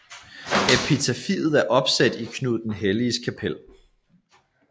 Epitafiet er opsat i Knud den Helliges kapel